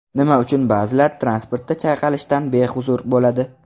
Nima uchun ba’zilar transportda chayqalishdan behuzur bo‘ladi?.